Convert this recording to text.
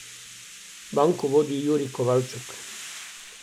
Banko vodi Jurij Kovalčuk.